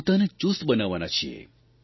પોતાને ચુસ્ત બનાવવાના છીએ